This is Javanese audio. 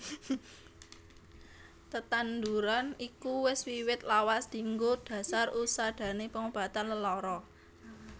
Tetanduran iku wis wiwit lawas dienggo dhasar usadaning pangobatan lelara